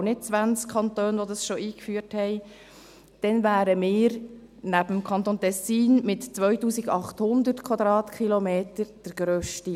es sind aber nicht 20 Kantone, die dies schon eingeführt haben –, wären wir neben dem Kanton Tessin mit 2800 km der grösste.